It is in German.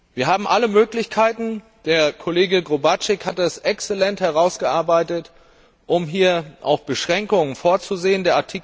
Wir haben alle Möglichkeiten der Kollege Gróbarczyk hat das exzellent herausgearbeitet um hier Beschränkungen vorzusehen.